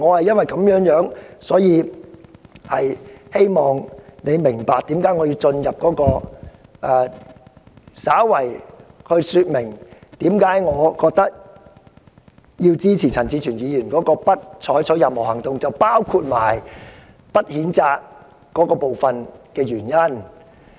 因此，我希望主席明白我為何要稍加說明我支持陳志全議員"不再採取任何行動"的議案，包括不作出譴責的原因。